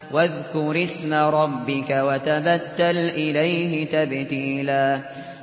وَاذْكُرِ اسْمَ رَبِّكَ وَتَبَتَّلْ إِلَيْهِ تَبْتِيلًا